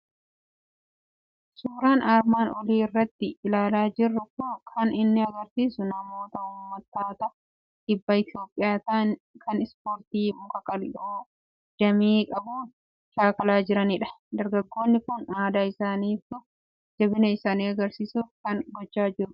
Suuraan armaan olii irratti ilaalaa jirru kan inni argisiisu namoota uummattoota kibba Itoophiyaa ta'an, kan ispoortii muka qal'oo damee qabuun shaakalaa jiraniiti. Dargaggoonni kun aadaa isaanii ibsuuf, jabina isaanii argisiisuuf kana gochaa jiru.